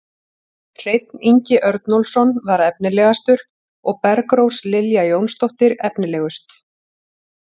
Hreinn Ingi Örnólfsson var efnilegastur og Bergrós Lilja Jónsdóttir efnilegust.